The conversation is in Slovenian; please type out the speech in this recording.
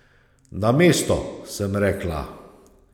Na mesto, sem rekla.